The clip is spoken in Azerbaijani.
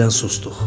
Yenidən susduq.